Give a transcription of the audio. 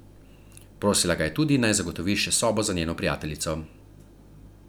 Prosila ga je tudi, naj zagotovi še sobo za njeno prijateljico.